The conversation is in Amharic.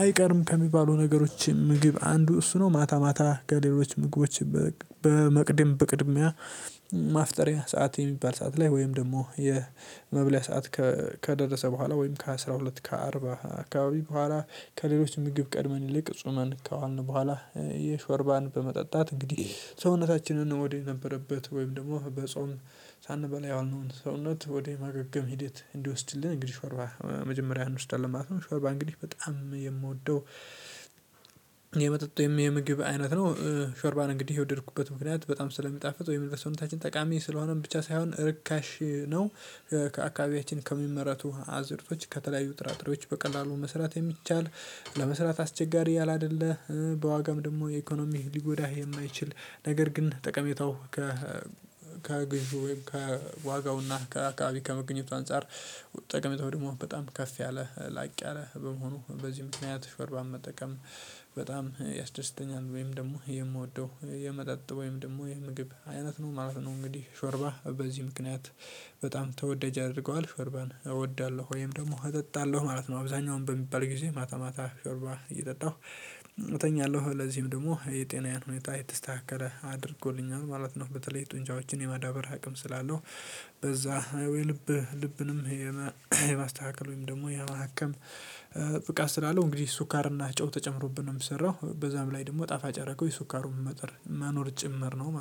አይቀርም ከሚባሉ ነገሮች ምግብ አንዱ እሱ ነው። ማታ ማታ ከሌሎች ምግቦች በመቅድም በቅድሚያ ማፍጠሪያ ሰዓት የሚባል ሰዓት ላይ ወይም ደግሞ የመብለያ ሰዓት ከደረሰ በኋላ ወይም ከአስራ ሁለት ከአርባ አካባቢ በኋላ ከሌሎች ምግብ ቀድመን ይልቅ ጽመን ከዋልን በኋላ የሾርባን በመጠጣት እንግዲህ ሰውነታችንን ወደ ነበረበት ወይም ደግሞ በጾም ሳንበላ የዋልነውን ሰውነት ወደ ማገገም ሂደት እንዲወስድልን እንግዲህ ሾርባ መጀመሪያ እንውስዳለን ማለት ነው። ሾርባ እንግዲህ በጣም የምወደው የመጠጥ ወይም የምግብ አይነት ነው። ሾርባን እንግዲህ የወደድኩበት ምክንያት በጣም ስለሚጣፍጥ ወይም ለሰዉነታችን ጠቃሚ ስለሆነም ብቻ ሳይሆን ርካሽ ነው። ከአካባቢያችን ከሚመረቱ አዝርቶች ከተለያዩ ጥራጥሬዎች በቀላሉ መስራት የሚቻል ለመስራት አስቸጋሪ ያለ አይደለ። በዋጋም ደግሞ የኢኮኖሚ ሊጎዳህ የማይችል ነገር ግን ጠቀሜታው ከ ከግንቱ ከዋጋውና ከአካባቢ ከመገኘቱ አንፃር ጠቅሜታው ደግሞ በጣም ከፍ ያለ ላቅ ያለ በመሆኑ በዚህ ምክንያት ሾርባ መጠቀም በጣም ያስደስተኛል። ወይም ደግሞ የምወደው የመጠጥ ወይም ደግሞ የምግብ አይነት ነው ማለት ነው። እንግዲህ ሾርባ በዚህ ምክንያት በጣም ተወደጅ ያደርገዋል ሾርባን እወዳለሁ ወይም ደግሞ እጠጣለሁ ማለት ነው። አብዛኛውን በሚባል ጊዜ ማታ ማታ ሾርባ እየጠጣሁ እተኛለሁ ለዚህም ደግሞ የጤናዬን ሁኔታ የተስተካከለ አድርጎልኛል ማለት ነው። በተለይ ጡንቻዎችን የማዳበር አቅም ስላለው በዛ የልብ ልብንም የማስተካከል ወይም ደግሞ የማከም ብቃት ስላለው እንግዲህ ስኳርና ጨው ተጨምሮብን ነው የሚሰራው በዛም ላይ ደግሞ ጣፋጭ ያረገው የስኳሩ መጠን መኖር ጭምር ነው።